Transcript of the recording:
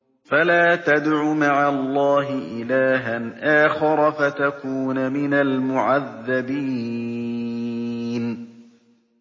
فَلَا تَدْعُ مَعَ اللَّهِ إِلَٰهًا آخَرَ فَتَكُونَ مِنَ الْمُعَذَّبِينَ